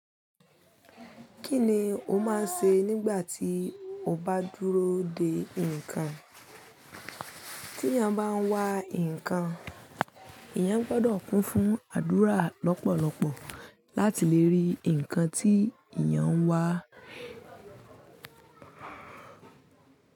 Kí ni o máa ń ṣe nígbà tí o bá dúró de nǹkan? Tí a bá ń wa nǹkan, eyan gbọ́dọ̀ kún fún àdúrà lọ́pọ̀lọpọ̀ láti lè rí nǹkan tí eyan ń wá.